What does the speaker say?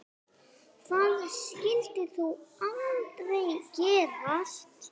Það skyldi þó aldrei gerast?